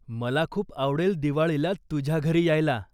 मला खूप आवडेल दिवाळीला तुझ्या घरी यायला.